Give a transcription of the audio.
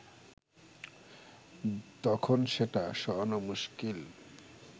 তখন সেটা সরানো মুশকিল